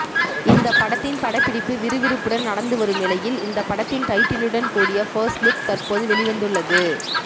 இந்த படத்தின் படப்பிடிப்பு விறுவிறுப்புடன் நடந்து வரும் நிலையில் இந்த படத்தின் டைட்டிலுடன் கூடிய ஃபர்ஸ்ட்லுக் தற்போது வெளிவந்துள்ளது